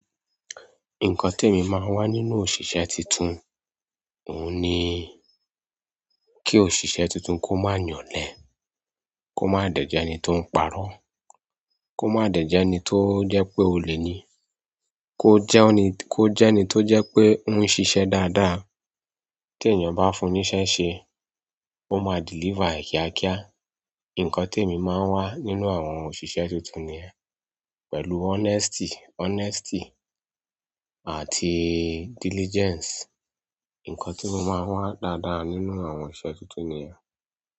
Nǹkan tí èmi máa ń wá nínú òṣìṣẹ́ tuntun, òun ni kí òṣìṣẹ́ tuntun kó má yàn olẹ́, kó má dẹ̀jẹ́ ẹni tó ń pa'rọ́, kó má dẹ̀jẹ́ ẹni tó jẹ́ pé olè ni, kó jẹ́ ẹni tó jẹ pé ó ń ṣiṣẹ́ dáadáa. Tí ènìyàn bá fún ní iṣẹ́ ṣe, ó máa deliver e kíákíá. Nǹkan tí èmi máa ń wá nínú àwọn òṣìṣẹ́ tuntun ni pẹ̀lú honesty, honesty àti diligence. Nǹkan tí mo máa ń wá dáadáa nínú àwọn iṣẹ́ tuntun ni yẹn.